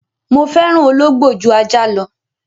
Mo fẹ́ràn Ológbò jú Ajá lọ.